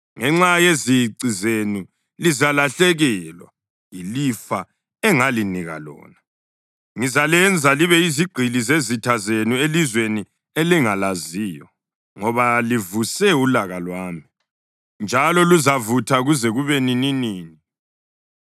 Ngenxa yezici zenu lizalahlekelwa yilifa engalinika lona. Ngizalenza libe yizigqili zezitha zenu elizweni elingalaziyo, ngoba livuse ulaka lwami, njalo luzavutha kuze kube nininini.”